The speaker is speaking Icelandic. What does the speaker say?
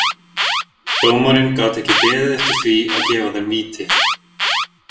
Dómarinn gat ekki beðið eftir því að gefa þeim víti.